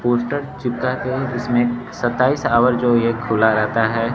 Poster चिपका है जिसमें सत्ताईस अवर जो यह खुला रहता है।